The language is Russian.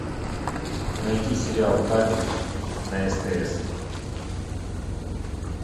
найти сериал папик на стс